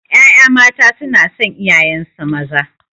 Ƴaƴa mata sunason iyayensu maza